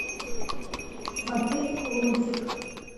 смотреть лунтик